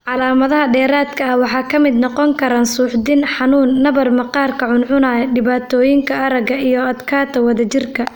Calaamadaha dheeraadka ah waxaa ka mid noqon kara suuxdin, xanuun, nabar maqaarka cuncunaya (chilblains), dhibaatooyinka aragga, iyo adkaanta wadajirka.